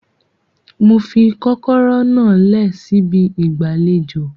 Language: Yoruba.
Mo fi kọ́kọ́rọ́ náà lẹ̀ síbi ìgbàlejò